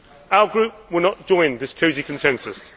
Our group will not join this cosy consensus.